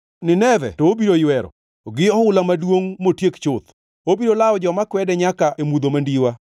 Nineve to obiro ywero, gi ohula maduongʼ motiek chuth; obiro lawo joma kwede nyaka e mudho mandiwa.